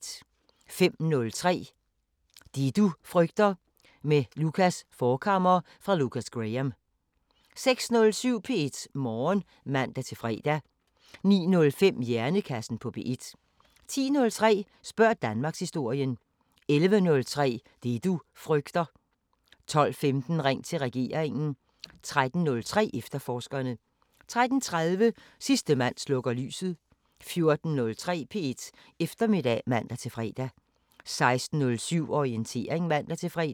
05:03: Det du frygter – med Lukas Forchhammer fra Lukas Graham 06:07: P1 Morgen (man-fre) 09:05: Hjernekassen på P1 10:03: Spørg Danmarkshistorien 11:03: Det du frygter 12:15: Ring til regeringen 13:03: Efterforskerne 13:30: Sidste mand slukker lyset 14:03: P1 Eftermiddag (man-fre) 16:07: Orientering (man-fre)